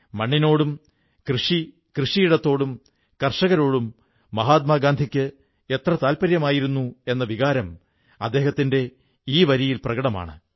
മണ്ണിനോടും കൃഷിയോടുംകൃഷിയിടത്തോടും കർഷകരോടും മഹാത്മാഗാന്ധിക്ക് എത്ര താത്പര്യമായിരുന്നു എന്ന വികാരം അദ്ദേഹത്തിന്റെ ഈ വരിയിൽ പ്രകടമാണ്